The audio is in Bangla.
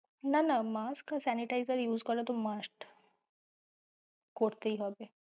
না না mask আর sanitizer তো use করা must করতেই হবে।